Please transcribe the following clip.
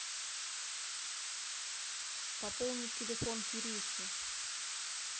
пополнить телефон кирюхи